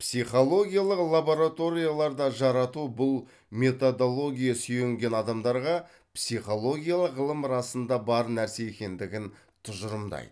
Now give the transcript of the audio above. психологиялық лабораторияларда жарату бұл методология сүйенген адамдарға психологиялық ғылым расында бар нәрсе екендігін тұжырымдайды